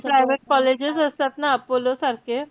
ते private colleges असतात ना apollo सारखे,